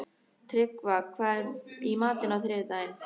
Tryggva, hvað er í matinn á þriðjudaginn?